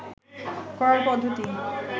করার পদ্ধতি